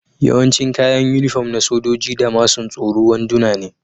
Yawancin kayan unifom na sojoji da masun tsoro wanduna ne.